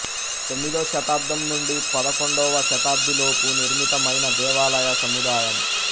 తొమ్మిదో శతాబ్దం నుండి పదకొండవ శతాబ్ది లోపు నిర్మితమైన దేవాలయ సముదాయం